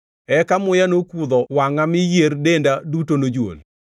Eka muya nokudho wangʼa, mi yier denda duto nojuol.